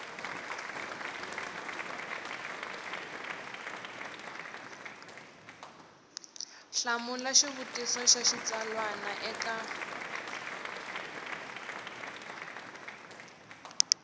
hlamula xivutiso xa xitsalwana eka